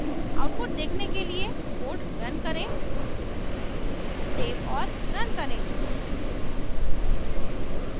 output देखने के लिए code रन करें सेव और रन करें